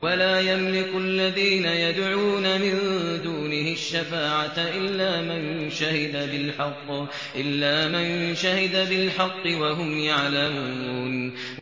وَلَا يَمْلِكُ الَّذِينَ يَدْعُونَ مِن دُونِهِ الشَّفَاعَةَ إِلَّا مَن شَهِدَ بِالْحَقِّ وَهُمْ يَعْلَمُونَ